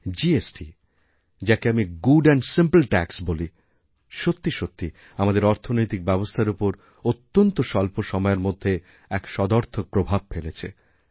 GST যাকে আমি good and simple tax বলি সত্যি সত্যি আমাদেরঅর্থনৈতিক ব্যবস্থার ওপর অত্যন্ত স্বল্প সময়ের মধ্যে এক সদর্থক প্রভাব ফেলেছে